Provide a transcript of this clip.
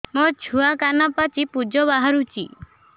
ମୋ ଛୁଆ କାନ ପାଚି ପୂଜ ବାହାରୁଚି